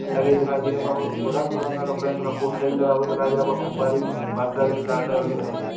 लगे दिखाई दे रे बबून रंग-बिरंगा का पेंट का पोस्टर भी दिखाई दे रहा हैं हा व फुब्बारे भी वाइट कलर के लाल कलर के दिख रहे हैं।